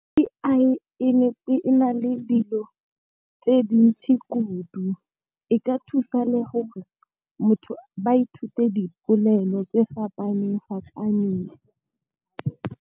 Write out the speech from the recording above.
A_I e na le dilo tse dintsi kudu e ka thusa le gore motho ba ithute dipolelo tse fapaneng fapaneng.